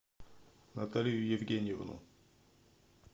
наталью евгеньевну